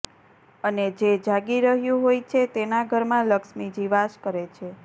અને જે જાગી રહ્યું હોય છે તેના ઘરમાં લક્ષ્મીજી વાસ કરે છે